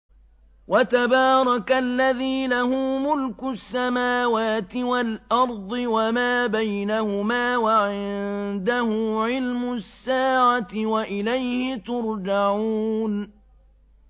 وَتَبَارَكَ الَّذِي لَهُ مُلْكُ السَّمَاوَاتِ وَالْأَرْضِ وَمَا بَيْنَهُمَا وَعِندَهُ عِلْمُ السَّاعَةِ وَإِلَيْهِ تُرْجَعُونَ